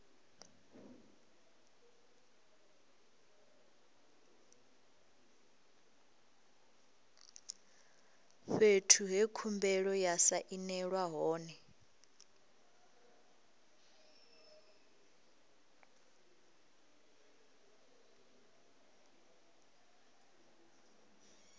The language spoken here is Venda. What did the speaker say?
fhethu he khumbelo ya sainelwa hone